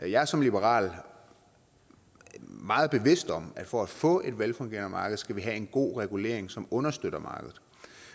jeg er som liberal meget bevidst om at for at få et velfungerende marked skal vi have en god regulering som understøtter markedet